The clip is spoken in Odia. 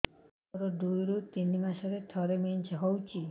ମୋର ଦୁଇରୁ ତିନି ମାସରେ ଥରେ ମେନ୍ସ ହଉଚି